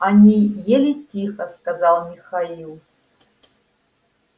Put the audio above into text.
они ели тихо сказал михаил